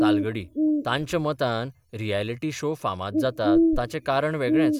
तालगडी तांच्या मतान reality show फामाद जातात ताचें कारण वेगळेंच.